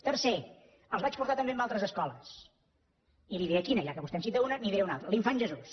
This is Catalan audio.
tercer els vaig portar també a altres escoles i li diré quina ja que vostè en cita una li’n diré una altra l’infant jesús